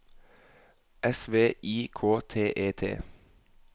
S V I K T E T